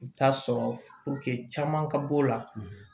I bɛ taa sɔrɔ caman ka b'o la